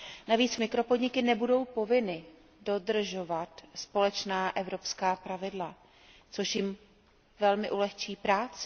Navíc mikropodniky nebudou povinny dodržovat společná evropská pravidla, což jim velmi ulehčí práci.